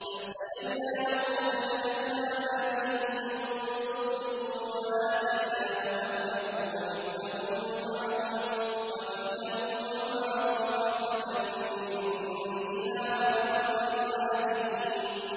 فَاسْتَجَبْنَا لَهُ فَكَشَفْنَا مَا بِهِ مِن ضُرٍّ ۖ وَآتَيْنَاهُ أَهْلَهُ وَمِثْلَهُم مَّعَهُمْ رَحْمَةً مِّنْ عِندِنَا وَذِكْرَىٰ لِلْعَابِدِينَ